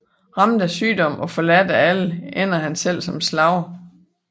Ramt af sygdom og forladt af alle ender han selv som slave